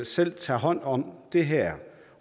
selv tager hånd om det her